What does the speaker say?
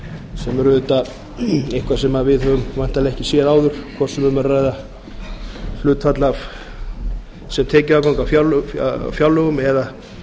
sem er auðvitað eitthvað sem við höfum væntanlega ekki séð áður hvort sem um er að ræða hlutfall af sem tekjuafgang af fjárlögum eða